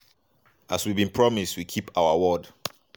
"as we bin promise we keep to our word.